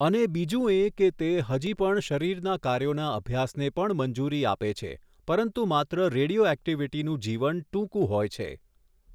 અને બીજું એ કે તે હજી પણ શરીરના કાર્યોના અભ્યાસને પણ મંજૂરી આપે છે પરંતુ માત્ર રેડિયોઍક્ટિવિટીનું જીવન ટૂંકું હોય છે.